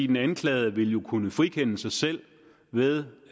den anklagede vil jo kunne frikende sig selv ved